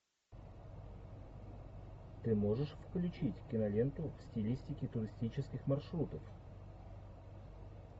ты можешь включить киноленту в стилистике туристических маршрутов